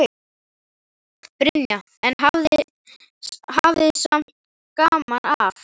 Brynja: En hafið samt gaman af?